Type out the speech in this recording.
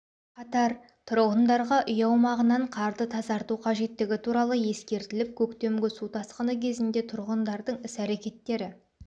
қатар тұрғындарға үй аумағынан қарды тазарту қажеттігі туралы ескертіліп көктемгі су тасқыны кезінде тұрғындардың іс-әрекеттері